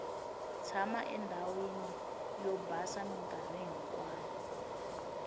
tshama endhawini o basa minkarhi hinkwayo